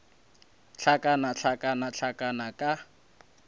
hlakana hlakana hlakana hlakana ka